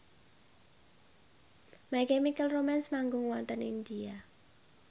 My Chemical Romance manggung wonten India